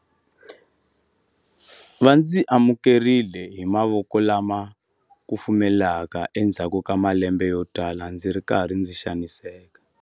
Va ndzi amukerile hi mavoko lama kufumelaka endzhaku ka malembe yotala ndzi ri karhi ndzi xaniseka.